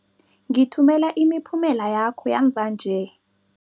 Ngithumela imiphumela yakho yamva nje.